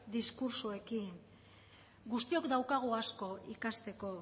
diskurtsoekin guztiok daukagu asko ikasteko